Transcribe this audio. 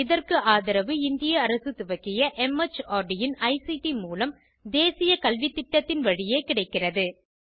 இதற்கு ஆதரவு இந்திய அரசு துவக்கிய மார்ட் இன் ஐசிடி மூலம் தேசிய கல்வித்திட்டத்தின் வழியே கிடைக்கிறது